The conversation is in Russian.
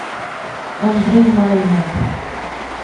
андрей майнер